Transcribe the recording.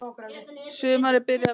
Sumarið byrjaði mjög vel.